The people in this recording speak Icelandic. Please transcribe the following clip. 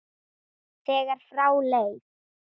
þegar frá leið.